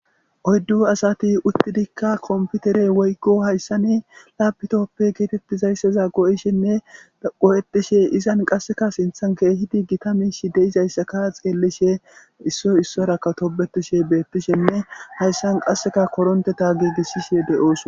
Oyddu asati uttidikka komputere woygo hayssa ne laabitoppe geetettizayssaza go'ishenne qo'etishe izan qasseka sinthan keehidi gitamish deizayssaka xeellishe issoy issoraka tobetishe beettishenne hayssan qasseka koronte ta giigisshishe deyoos.